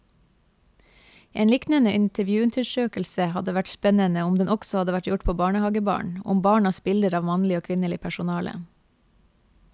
En liknende intervjuundersøkelse hadde vært spennende om den også hadde vært gjort på barnehagebarn, om barnas bilder av mannlig og kvinnelig personale.